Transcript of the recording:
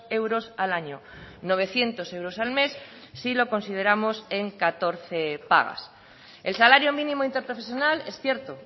euros al año novecientos euros al mes si lo consideramos en catorce pagas el salario mínimo interprofesional es cierto